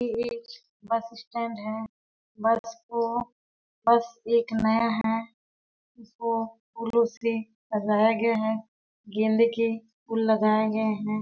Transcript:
ये एक bus stand है बस को बस एक नया है इसको फ़ूलो से सजाया गया है गेंदे के फूल लगाए गए हैं।